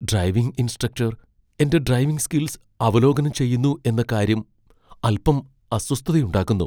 Driving instructor എന്റെ driving skills അവലോകനം ചെയ്യുന്നു എന്ന കാര്യം അൽപ്പം അസ്വസ്ഥതയുണ്ടാക്കുന്നു.